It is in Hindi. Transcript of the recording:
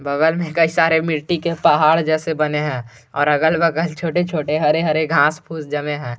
बगल में कई सारे मिट्टी के पहाड़ जैसे बने हैं और अगल बगल छोटे छोटे हरे हरे घास फूस जमे है।